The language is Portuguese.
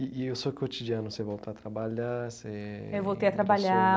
E e o seu cotidiano, você volta a trabalhar, você ... Eu voltei a trabalhar.